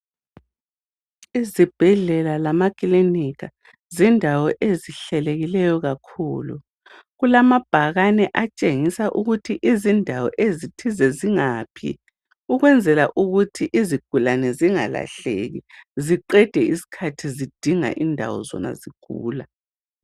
Izibhedlela lamaklinika ,zindawo ezihlelekileyo kakhulu .Kulamabhakane atshengisa ukuthi izindawo ezithize zingaphi ukwenzela ukuthi izigulane zingalahleki ziqede isikhathi zidinga indawo zona zigula.